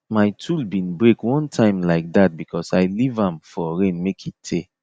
my tool bin break one time like that because i leave am for rain make e tey